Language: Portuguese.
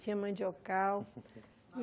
Tinha mandiocal.